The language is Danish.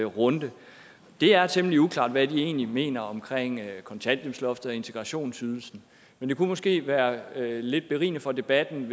runde det er temmelig uklart hvad de egentlig mener om kontanthjælpsloftet og integrationsydelsen men det kunne måske være lidt berigende for debatten